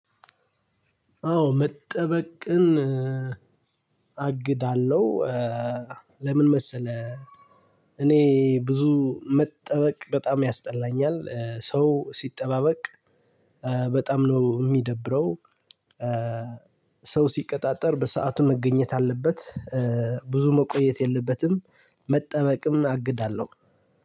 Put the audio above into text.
አዎ መጠበቅን አግዳለሁ። ለምን መሰለህ፣ እኔ ብዙ መጠበቅ በጣም ያስጠላኛል፤ ሰው ሲጠባበቅ በጣም ነው የሚደብረው። ሰው ሲቀጣጠር በሰአቱ መገኘት አለበት። ብዙ መቆየት የለበትም መጠበቅም አግዳለው።